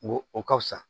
N ko o ka fusa